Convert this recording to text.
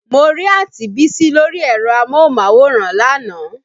Mo rí Àǹti Bísí lórí ẹ̀rọ amóhùnmáwòrán lánàá